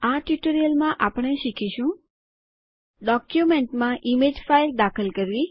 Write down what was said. આ ટ્યુટોરીયલમાં આપણે શીખીશું ડોક્યુમેન્ટમાં ઇમેજ ફાઇલ દાખલ કરવા